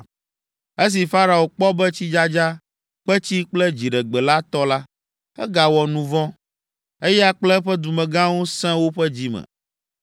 Esi Farao kpɔ be tsidzadza, kpetsi kple dziɖegbe la tɔ la, egawɔ nu vɔ̃; eya kple eƒe dumegãwo sẽ woƒe dzi me.